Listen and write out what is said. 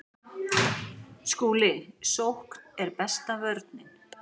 SKÚLI: Sókn er besta vörnin.